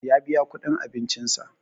Ya biya kuɗin abincin sa